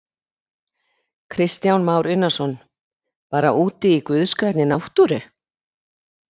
Kristján Már Unnarsson: Bara úti í guðs grænni náttúru?